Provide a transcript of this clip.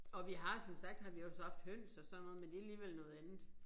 Og vi har som sagt har vi også haft høns og sådan noget men det alligevel noget andet